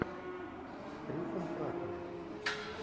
с крисом праттом